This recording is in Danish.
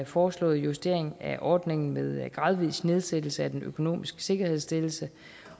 foreslåede justering af ordningen med gradvis nedsættelse af den økonomiske sikkerhedsstillelse